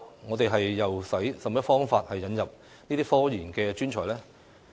我們應以甚麼方法引入科研專才？